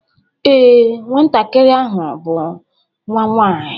Ee, Nwantakịrị ahụ bụ nwa nwaanyị